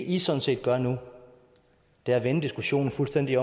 i sådan set gør nu er at vende diskussionen fuldstændig